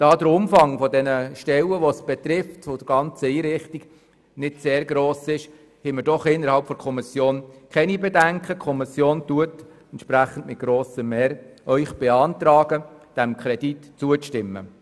Da der Umfang der benötigten Stellen für diese Einrichtung nicht sehr gross ist, beantragt Ihnen die Kommission mit grosser Mehrheit, dem Kredit zuzustimmen.